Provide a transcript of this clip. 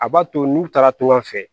A b'a to n'u taara togoya fɛ